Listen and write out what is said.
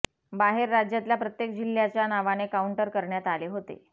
बाहेर राज्यातल्या प्रत्येक जिल्ह्याच्या नावाने काऊंटर करण्यात आले होते